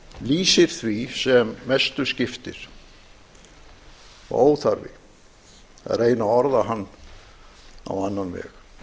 lýsir því sem mestu skiptir og óþarfi að reyna að orða hann á annan veg